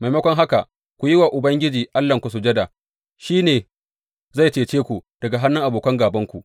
Maimakon haka, ku yi wa Ubangiji Allahnku sujada; shi ne zai cece ku daga hannun abokan gābanku.